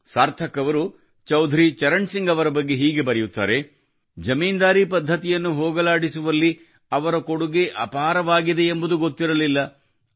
ಸಾರ್ಥಕ್ ಅವರು ಚೌಧರಿ ಚರಣ್ ಸಿಂಗ್ ಅವರ ಬಗ್ಗೆ ಹೀಗೆ ಬರೆದಿದ್ದಾರೆ ಜಮೀನುದಾರಿ ಪದ್ಧತಿಯನ್ನು ಹೋಗಲಾಡಿಸುವಲ್ಲಿ ಅವರ ಕೊಡುಗೆ ಅಪಾರವಾಗಿದ್ದು ಗೊತ್ತಿರ್ಲಿಲ್ಲ